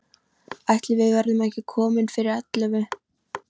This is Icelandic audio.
Ætli við verðum ekki komin fyrir ellefu.